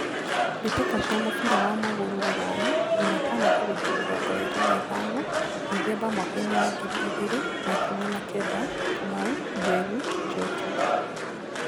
Mbĩtĩka cia mũbira wa magũrũ Ruraya: Jumatano tarĩki mĩrongo ĩrĩ na ithano ndithemba mwakainĩ wa ngiri igĩrĩ na ikũmi na kenda Kamau, Njeri, Njoki.